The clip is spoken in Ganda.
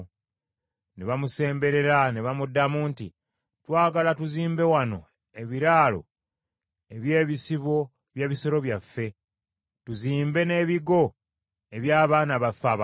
Ne bamusemberera ne bamuddamu nti, “Twagala tuzimbe wano ebiraalo eby’ebisibo by’ebisolo byaffe, tuzimbe n’ebigo eby’abaana baffe abato.